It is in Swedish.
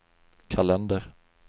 kalender